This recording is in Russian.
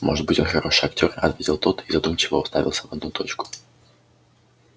может быть он хороший актёр ответил тот и задумчиво уставился в одну точку